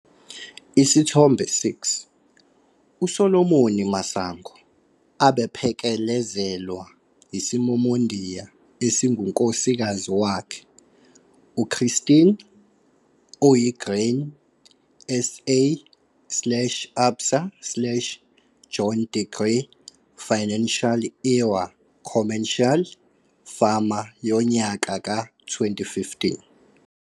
Isithombe 6- U-Solomon Masango, abephekelezelwa yisimomondiya esingunkosikazi wakhe, uChristina, oyi-Grain SA, ABSA, John Deere Financial New Era Commercial Farmer yonyaka ka-2015.